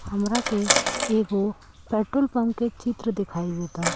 हमरा के एगो पेट्रोल पम्प के चित्र दिखाई देता।